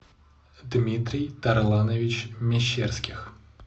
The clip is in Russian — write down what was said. дмитрий тарланович мещерских